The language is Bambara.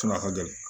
ka gɛlɛn